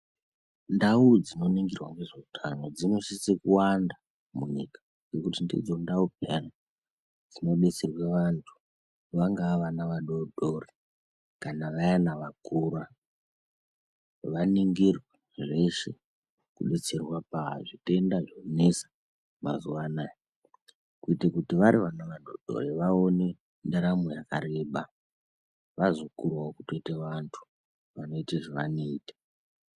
Ndawu dzinoningirwa nezveutano dzinosisa kuwanda munyika ngekuti ndidzo ndawu payeni dzinodetserwa vantu vangaa vana vadodori kana vayeni vakura vaningirwe zveshe kudetserwa pazvitenda zvinonesa mazuwaanaa kuita kuti kana vati vana vadodori vaonewo ndaramo yakareba vazokurawo kutoita vantu vanoita zvevanoita.